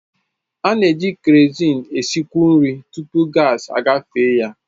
A na-eji kerozin na-esikwu nri tupu gaasi agafe ya.